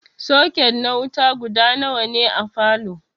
Soket na wuta guda nawa ne a falow?